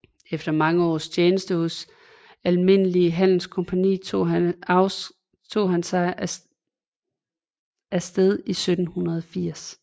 Efter mange års tjeneste hos Almindelige Handelscompagnie tog han sig afsked i 1780